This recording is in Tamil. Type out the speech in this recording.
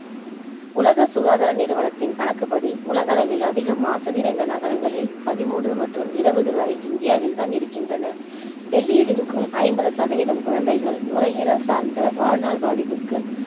உலக சுகாதார நிறுவனத்தின் கணக்குப்படி உலக அளவில் அதிகம் மாசு நிறைந்த நகரங்களில் பதிமூன்று மற்றும் இருபது வரை இந்தியாவில் தான் இருக்கின்றன. டெல்லியில் இருக்கும் ஐம்பது சதவிதம் குழந்தைகள் நுரையீரல் சார்ந்த வாழ்நாள் பாதிப்புக்கு